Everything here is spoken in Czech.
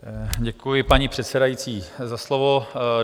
Děkuji, paní předsedající, za slovo.